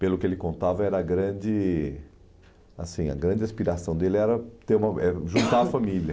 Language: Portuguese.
Pelo que ele contava, era grande assim a grande aspiração dele era ter uma era juntar a família.